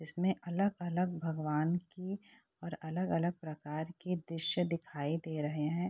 इसमें अलग-अलग भगवान की और अलग-अलग प्रकार के दृश्य दिखाई दे रहे हैं।